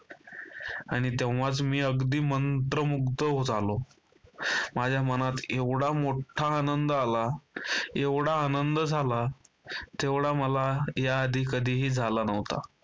आणि तेव्हाच मी अगदी मंत्रमुग्ध झालो. माझ्या मनात एवढा मोठा आनंद आला, एवढा आनंद झाला जेवढा मला याआधी कधीही झाला नव्हता.